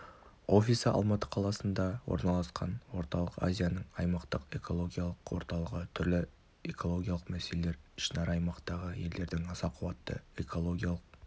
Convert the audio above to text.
офисі алматы қаласында орналасқан орталық азияның аймақтық экологиялық орталығы түрлі экологиялық мәселелер ішінара аймақтағы елдердің аса қуатты экологиялық